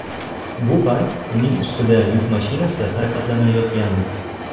Bu payt uning ustida yuk mashinasi harakatlanayotgandi.